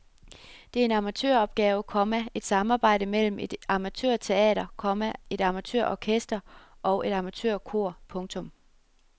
Det er en amatøropgave, komma et samarbejde mellem et amatørteater, komma et amatørorkester og et amatørkor. punktum